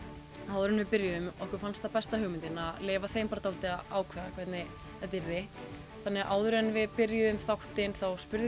áður en við byrjuðum okkur fannst það besta hugmyndin að leyfa þeim bara að ákveða hvernig þetta yrði þannig áður en við byrjuðum þáttinn þá spurðum